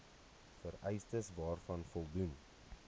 vereistes waaraan voldoen